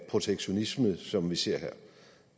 protektionisme som vi ser her